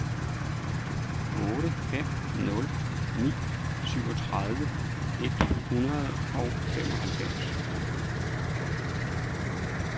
otte fem nul ni syvogtredive et hundrede og femoghalvfems